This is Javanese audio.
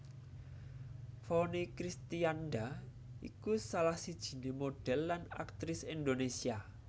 Vonny Kristianda iku salah sijiné modhèl lan aktris Indonésia